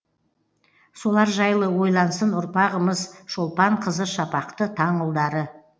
солар жайлы ойлансын ұрпағымыз шолпан қызы шапақты таң ұлдары